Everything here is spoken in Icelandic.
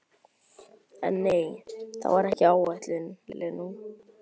En nei, það var ekki ætlun Lenu.